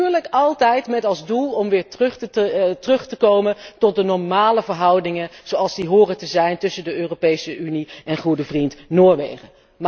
Natuurlijk altijd met als doel om weer terug te komen tot de normale verhoudingen zoals die horen te zijn tussen de Europese Unie en goede vriend Noorwegen.